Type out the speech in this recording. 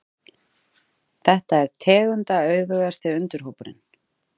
Þetta er tegundaauðugasti undirhópurinn.